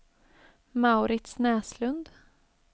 Mauritz Näslund